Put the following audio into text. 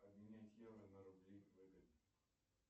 обменять евро на рубли выгодно